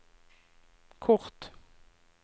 kort